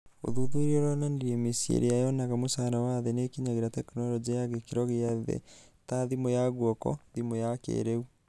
ũthuthuria ũronanirie mĩciĩ ĩrĩa yonaga mũcara wa thĩ nĩĩkinyagĩra tekinoronjĩ ya gĩkĩro gĩa thĩ ta thimũ ya guoko / thimũ ya kĩrĩu.